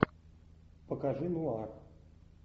покажи нуар